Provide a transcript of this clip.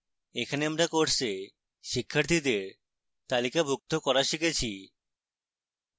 এখানে আমরা course শিক্ষার্থীদের তালিকাভুক্ত করা শিখেছি